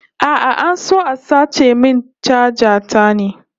A'a, an so a sace min chaja ta ne